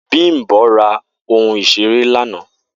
Bimbo ra ohun isere lana